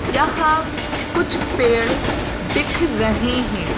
यहां कुछ पेड़ दिख रहे हैं।